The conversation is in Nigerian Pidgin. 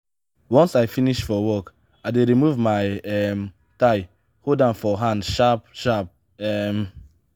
once i finish for work i dey remove my um tie hold am for hand sharp-sharp. um